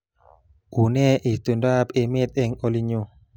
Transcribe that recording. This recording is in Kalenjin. Unee itondoab emet eng olinyu